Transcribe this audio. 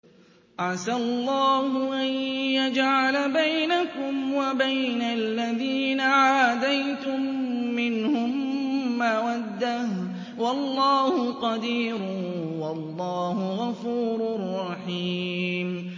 ۞ عَسَى اللَّهُ أَن يَجْعَلَ بَيْنَكُمْ وَبَيْنَ الَّذِينَ عَادَيْتُم مِّنْهُم مَّوَدَّةً ۚ وَاللَّهُ قَدِيرٌ ۚ وَاللَّهُ غَفُورٌ رَّحِيمٌ